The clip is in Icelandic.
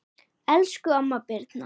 Elsku amma Birna.